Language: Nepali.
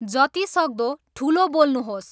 जति सक्दो ठुलो बोल्नुहोस्